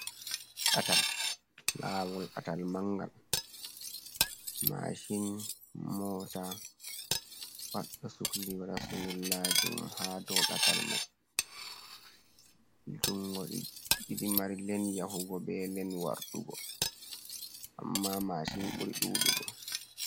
Datal lawol datal mangal, mashin mota pat do sukli wada sunkulaji ha dow datal mai, jungo ɗidi mari len yahugo be len wartugo amma mashin buri dudugo.